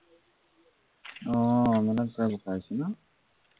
অ মানে পুৰা বোকা হৈছে ন!